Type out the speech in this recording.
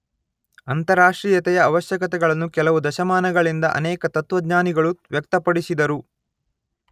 ಅಂತಾರಾಷ್ಟ್ರೀಯತೆಯ ಆವಶ್ಯಕತೆಗಳನ್ನು ಕೆಲವು ದಶಮಾನಗಳಿಂದ ಅನೇಕ ತತ್ವಜ್ಞಾನಿಗಳು ವ್ಯಕ್ತಪಡಿಸಿದರು.